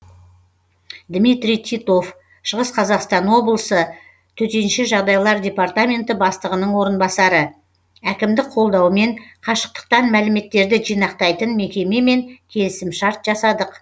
дмитрий титов шығыс қазақстан облысы төтенше жағдайлар департаменті бастығының орынбасары әкімдік қолдауымен қашықтықтан мәліметтерді жинақтайтын мекемемен келісімшарт жасадық